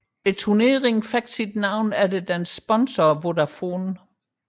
Turneringen havde sit navn efter dets sponsor Vodafone